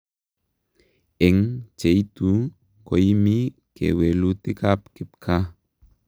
Eng' cheitu koimi kewelutik ap kipkaa